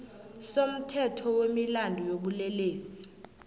somthetho wemilandu yobulelesi